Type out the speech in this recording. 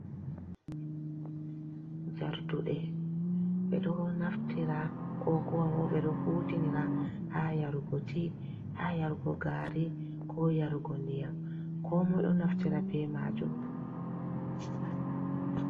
Jarduɗe ɓeɗo naftira ko kuwabo ɓeɗo hutinira ha yarugo ti, ha yarugo gari, ko yarugo ndiyam, ko moi ɗo naftira be majum.